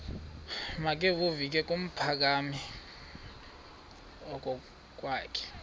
makevovike kumphuthumi okokwakhe